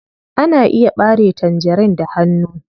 Ana iya ɓare tangerin da hanu.